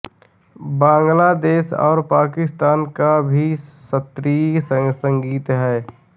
बांगलादेश और पाकिस्तान का भी शास्त्रीय संगीत है